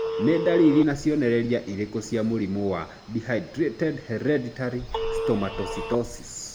Nĩ ndariri na cionereria irĩkũ cia mũrimũ wa Dehydrated hereditary stomatocytosis?